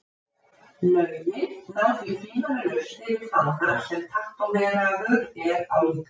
Lögin ná því tvímælalaust yfir fána sem tattóveraður er á líkama manns.